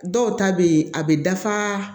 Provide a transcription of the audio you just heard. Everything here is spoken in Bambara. Dɔw ta bɛ ye a bɛ dafa